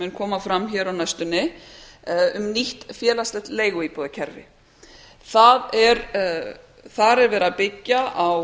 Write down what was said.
mun koma fram hér á næstunni um nýtt félagslegt leiguíbúðarkerfi þar er verið að byggja á